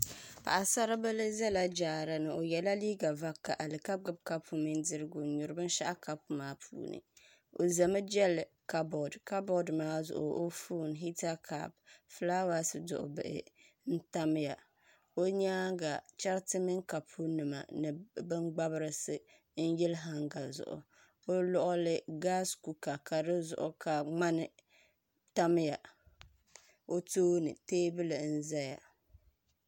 Paɣa saribili ʒɛla jaara ni o yɛla liiga vakaɣali ka gbubi kopu mini dirigu n nyuri binshaɣu kapu maa puuni o ʒɛmi n jɛli kabood kabood maa zuɣu o foon hita kaap fulaawaasi duɣu bila n tamya o nyaanga chɛriti mini kapu nima ni bin gbabrisi n yili hanga zuɣu o luɣuli gaas kuuka ka di zuɣu ka ŋmani tamya o tooni teebuli n ʒɛya